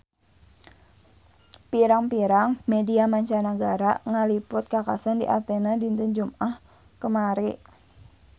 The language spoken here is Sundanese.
Pirang-pirang media mancanagara ngaliput kakhasan di Athena dinten Jumaah kamari